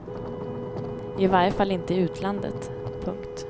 I varje fall inte i utlandet. punkt